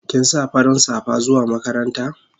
Kin sa farin safa zuwa makaranta?